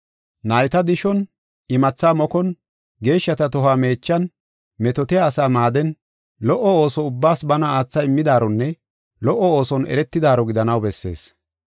Nayta dishon, imatha mokon, geeshshata tohuwa meechan, metootiya asaa maaden, lo77o ooso ubbaas bana aatha immidaaronne lo77o ooson eretidaaro gidanaw bessees.